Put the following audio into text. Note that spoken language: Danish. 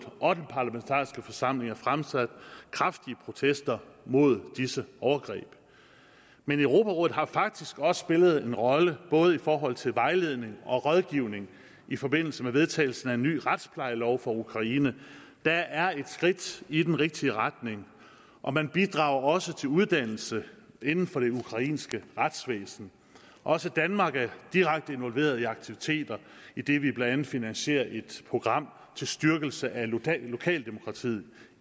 og den parlamentariske forsamling fremsat kraftige protester mod disse overgreb europarådet har faktisk også spillet en rolle både i forhold til vejledning og rådgivning i forbindelse med vedtagelsen af en ny retsplejelov for ukraine der er et skridt i den rigtige retning og man bidrager også til uddannelse inden for det ukrainske retsvæsen også danmark er direkte involveret i nogle aktiviteter idet vi blandt andet finansierer et program til styrkelse af lokaldemokratiet